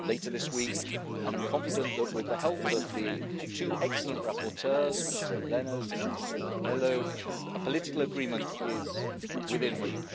later this week and I'm confident that, with the help of the two excellent rapporteurs, Mr Lenaers and Mr Melo, a political agreement is within reach.